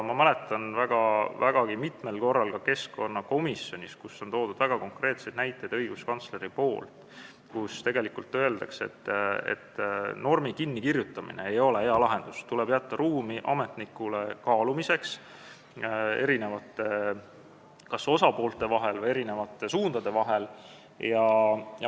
Ma mäletan, et vägagi mitmel korral on õiguskantsler ka keskkonnakomisjonis toonud konkreetseid näiteid selle kohta, et normi kinnikirjutamine ei ole hea lahendus, tuleb jätta ametnikule ruumi kaaluda kas eri osapoolte või suundade vahel.